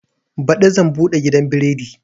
Baɗi zan buɗe gidan biredi